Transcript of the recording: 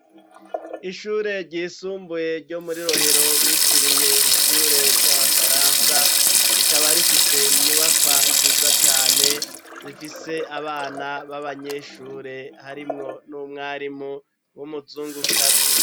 Ishure ryisumbuye ryo muri rohero bitiriye ishure ry'abafaransa rikaba rifise inyubakwa nziza cane zifise abana b'abanyeshure harimwo n'umwarimu w'umuzungukazi.